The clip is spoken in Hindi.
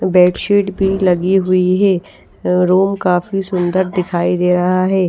बेडशीट भी लगी हुई है रूम काफी सुंदर दिखाई दे रहा है।